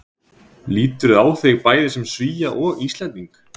Lýturðu á þig bæði sem Svía og Íslending?